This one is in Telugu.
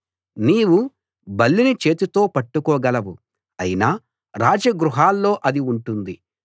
నీవు బల్లిని చేతితో పట్టుకోగలవు అయినా రాజ గృహాల్లో అది ఉంటుంది